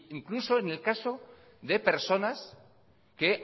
incluso en el caso de personas que